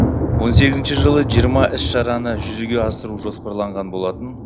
он сегізінші жылы жиырма іс шараны жүзеге асыру жоспарланған болатын